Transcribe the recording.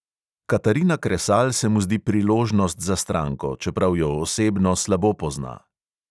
Katarina kresal se mu zdi priložnost za stranko, čeprav jo osebno slabo pozna.